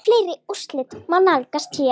Fleiri úrslit má nálgast hér